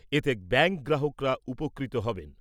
এতে ব্যাঙ্ক গ্রাহকরা উপকৃত হবেন।